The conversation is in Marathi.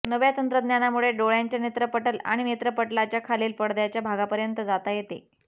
नव्या तंत्रज्ञानामुळे डोळ्याच्या नेत्रपटल आणि नेत्रपटलाच्या खालील पडद्याच्या भागापर्यंत जाता येते